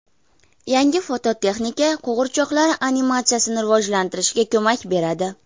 Yangi fototexnika qo‘g‘irchoqlar animatsiyasini rivojlantirishga ko‘mak beradi.